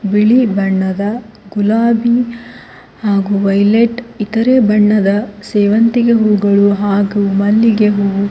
ಬಿಳಿ ಬಣ್ಣದ ಗುಲಾಬಿ ಹಾಗು ವೈಲೆಟ್ ಇತರೆ ಬಣ್ಣದ ಸೇವಂತಿಗೆ ಹೂಗಳು ಹಾಗು ಮಲ್ಲಿಗೆ ಹೂವು--